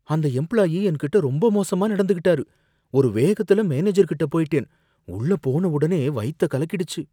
அந்த எம்ப்ளாயி என்கிட்ட ரொம்ப மோசமா நடந்துக்கிட்டாரு. ஒரு வேகத்துல மேனேஜர் கிட்ட போயிட்டேன், உள்ள போன உடனே வயித்த கலக்கிடுச்சு.